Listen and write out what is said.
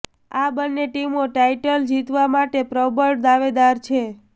આ બંને ટીમો ટાઇટલ જીતવા માટે પ્રબળ દાવેદાર છે